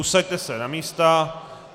Usaďte se na místa.